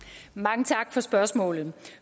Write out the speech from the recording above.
tak så er spørgsmålet